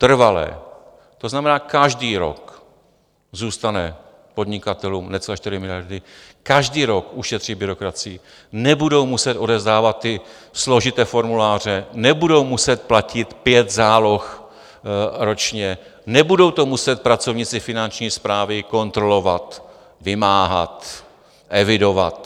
Trvalé, to znamená, každý rok zůstanou podnikatelům necelé 4 miliardy, každý rok ušetří byrokracii, nebudou muset odevzdávat ty složité formuláře, nebudou muset platit pět záloh ročně, nebudou to muset pracovníci finanční správy kontrolovat, vymáhat, evidovat.